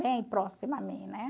Bem próximo a mim, né?